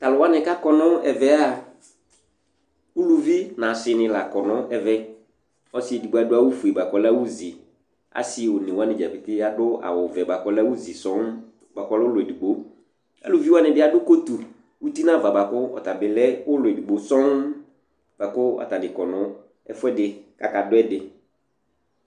Tʋ alʋ wanɩ kʋ akɔ nʋ ɛvɛ a, uluvi nʋ asɩnɩ la kɔ nʋ ɛvɛ Ɔsɩ edigbo adʋ awʋfue bʋa kʋ ɔlɛ awʋzi Asɩ one wanɩ dza pete adʋ awʋvɛ bʋa kʋ ɔlɛ awʋzi sɔŋ bʋa kʋ ɔlɛ ʋlɔ edigbo Aluvi wanɩ bɩ adʋ kotu uti nʋ ava bʋa kʋ ɔta bɩ lɛ ʋlɔ edigbo sɔŋ bʋa kʋ atanɩ kɔ nʋ ɛfʋɛdɩ kʋ akadʋ ɛdɩ